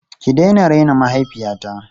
Ki daina raina mahaifiyata!